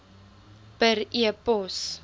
per e pos